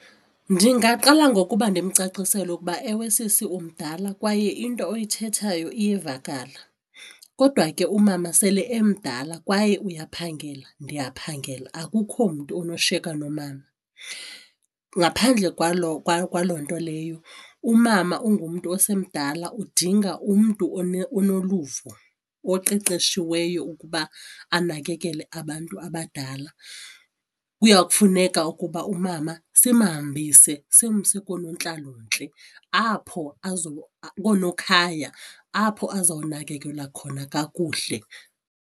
Ndingaqala ngokuba ndimcacisele ukuba ewe sisi umdala kwaye into oyithethayo iyavakala, kodwa ke umama sele emdala kwaye uyaphangela ndiyaphangela akukho mntu onoshiyeka nomama. Ngaphandle kwaloo kwaloo nto leyo umama ungumntu osemdala udinga umntu onoluvo oqeqeshiweyo ukuba anakekele abantu abadala. Kuya kufuneka ukuba umama simhambise simse koonontlalontle apho koonokhaya apho azawunakekelwa khona kakuhle.